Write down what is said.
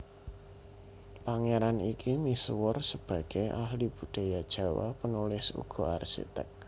Pangeran iki misuwur sebagei ahli budaya Jawa penulis uga arsitek